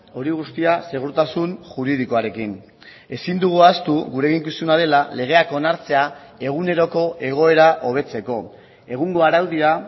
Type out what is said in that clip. hori guztia segurtasun juridikoarekin ezin dugu ahaztu gure eginkizuna dela legeak onartzea eguneroko egoera hobetzeko egungo araudia